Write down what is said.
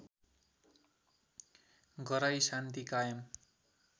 गराई शान्ति कायम